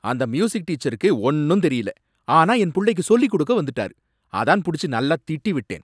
அந்த மியூசிக் டீச்சருக்கு ஒன்னும் தெரியல, ஆனா என் புள்ளைக்கு சொல்லிக் கொடுக்க வந்துட்டாரு, அதான் புடிச்சு நல்லா திட்டி விட்டேன்